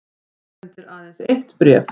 Afhendir aðeins eitt bréf